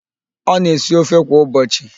Ọ na-esi ofe kwa ụbọchị?